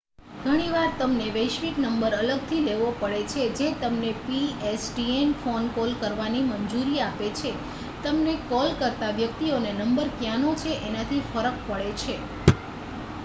ઘણીવાર તમારે વૈશ્વિક નંબર અલગ થી લેવો પડે છે જે તમને pstn ફોન કોલ કરવાની મંજૂરી આપે છે તમને કોલ કરતાં વ્યક્તિઓને નંબર ક્યાંનો છે એનાથી ફરક પડે છે